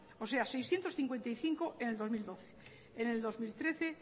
o sea seiscientos cincuenta y cinco en el dos mil doce en el dos mil trece